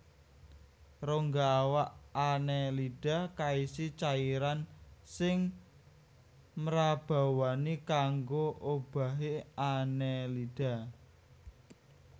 Rongga awak Annelida kaisi cairan sing mrabawani kanggo obahé Annelida